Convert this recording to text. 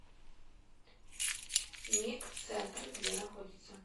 ник центр где находится